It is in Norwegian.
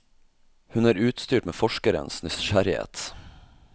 Hun er utstyrt med forskerens nysgjerrighet.